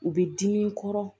U bɛ dimi kɔrɔ